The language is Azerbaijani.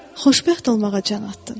Xoşbəxt olmağa can atdın.